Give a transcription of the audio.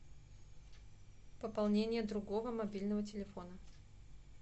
пополнение другого мобильного телефона